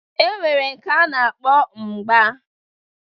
E nwere nke a na-akpọ mgba